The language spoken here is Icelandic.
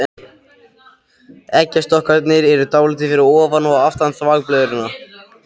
Eggjastokkarnir eru dálítið fyrir ofan og aftan þvagblöðruna.